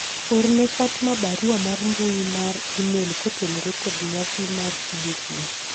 orne fatma barua mar mbui mar emailkotenore kod nyasi mar tije kiny